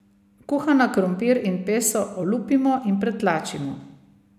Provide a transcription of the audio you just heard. Kuhana krompir in peso olupimo in pretlačimo.